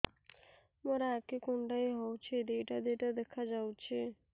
ମୋର ଆଖି କୁଣ୍ଡାଇ ହଉଛି ଦିଇଟା ଦିଇଟା ଦେଖା ଯାଉଛି